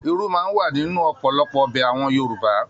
Irú máa n wà nínú ọpọlọpọ ọbẹ àwọn Yorùbá.